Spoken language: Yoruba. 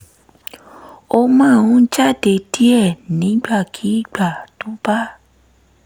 ó máa ń jáde díẹ̀ nígbàkigbà tó bá